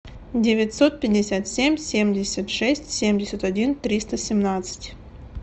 девятьсот пятьдесят семь семьдесят шесть семьдесят один триста семнадцать